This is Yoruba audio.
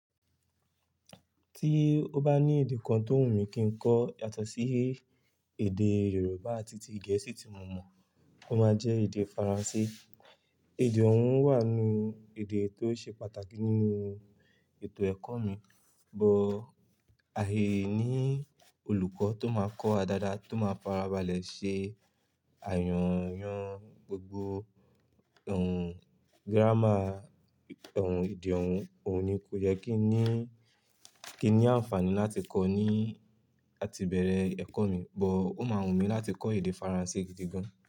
Tí ó bá ní èdè kan tó wù mí kí n kọ yàtọ̀ sí èdè Yorùbá àti ti Gẹ̀ẹ́sì tí mo mọ̀, ó máa jẹ èdè Faransé. Èdè òun wà nú èdè tó ṣe pàtàkì nínú ètò ẹ̀kọ́ mi, but àìní olùkọ́ tó máa kọ́ wa dáadáa tó máa fara balẹ̀ ṣe àyànyan gbogbo ohùn giráma ohùn èdè òun, òun ni kò jẹ kí ni, kí ni àǹfààní láti kọ́ ọ ní láti ibẹ̀rẹ̀ ẹ̀kọ́ mi, but ó máa wù mí láti kọ́ èdè Faransé gidi gan.